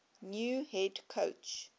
new head coach